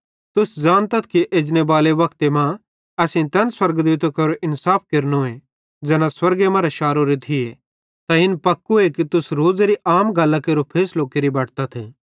तुस ज़ानतथ कि एजनेबाले वक्ते मां असेईं तैन स्वर्गदूतां केरो इन्साफ केरनोए ज़ैना स्वर्गे मरां शारोरे थिये त पक्को तुस रोज़ेरी आम गल्लां केरो फैसलो केरि बटतथ